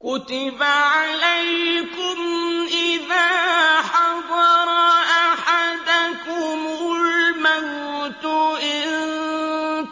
كُتِبَ عَلَيْكُمْ إِذَا حَضَرَ أَحَدَكُمُ الْمَوْتُ إِن